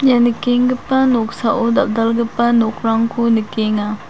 ia nikengipa noksao dal·dalgipa nokrangko nikenga.